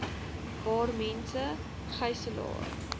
waar mense gyselaar